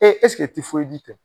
ɛseke tɛ